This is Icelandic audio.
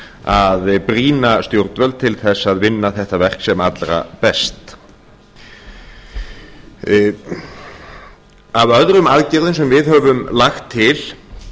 að brýna stjórnvöld til þess að vinna þetta verk sem allra best af öðrum aðgerðum sem við höfum lagt til